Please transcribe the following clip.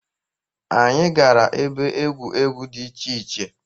Anyị gara ebe egwu egwu dị iche iche.